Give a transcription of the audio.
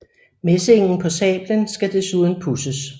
Messingen på sablen skal desuden pudses